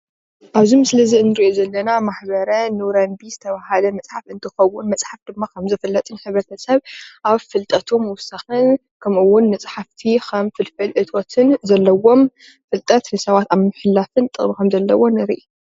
እብዚ ምስሊ እዚ ንሪኦ ዘለና ማሕበረ ኑረዲን ዝተበሃለ መፅሓፍ እንትኸውን መፅሓፍ ድማ ከም ዝፍለጥ ሕብረተሰብ አብ ፍልጠቱ ምውሳክን ከምኡ እውን ንፀሓፍቲ ከም ፍልፍል እቶትን ዘለዎም ፍልጠት ንሰባት አብ ምምሕላፍን ጥቅሚ ከም ዘሎዎ ንርኢ።